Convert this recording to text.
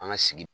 An ka sigi